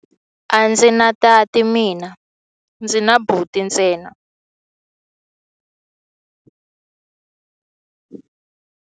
A ndzi na tati mina, ndzi na buti ntsena.